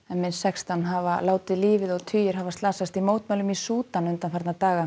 minnst sextán hafa látið lífið og tugir slasast í mótmælum í Súdan undanfarna daga